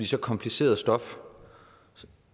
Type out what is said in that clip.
så kompliceret stof